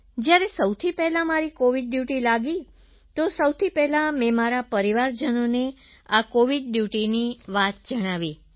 જ્યારે સૌથી પહેલાં મારી કોવિડ ડ્યૂટી લાગી તો સૌથી પહેલાં મેં મારા પરિવારજનોને આ કોવિડ ડ્યૂટીની વાત જણાવી